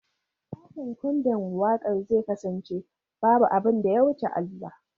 Taken kundin waƙar zai kasance ""Babu abin da ya wuce Allah"."